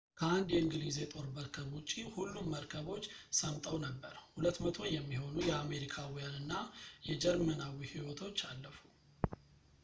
ከአንድ የእንግሊዝ የጦር መርከብ ውጪ ሁሉም መርከቦች ሰምጠው ነበር 200 የሚሆኑ የአሜሪካውያን እና የጀርመናዊ ህይወቶች አለፉ